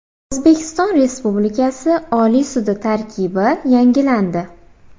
O‘zbekiston Respublikasi Oliy sudi tarkibi yangilandi.